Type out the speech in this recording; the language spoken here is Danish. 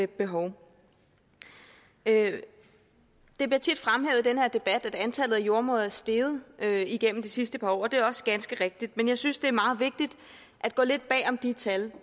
behov det bliver tit fremhævet i den her debat at antallet af jordemødre er steget igennem de sidste par år og det er også ganske rigtigt men jeg synes det er meget vigtigt at gå lidt bag om de tal